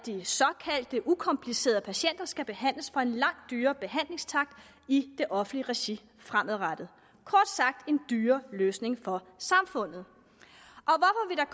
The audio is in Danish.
det ukomplicerede patienter skal behandles for en langt dyrere behandlingstakst i det offentlige regi fremadrettet kort sagt en dyrere løsning for samfundet